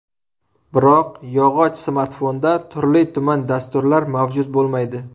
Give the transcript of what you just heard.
Biroq yog‘och smartfonda turli-tuman dasturlar mavjud bo‘lmaydi.